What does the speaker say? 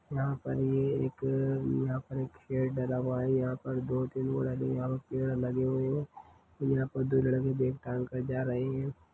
यहाँ पर ये एक यहाँ पर एक शेड डाला हुआ हेयहाँ पर दो तीन और यहाँ पर पेड़ लगे हुए है यहाँ पर दो लड़के बेग टंग कर जा रहे है।